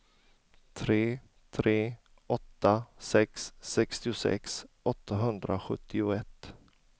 tre tre åtta sex sextiosex åttahundrasjuttioett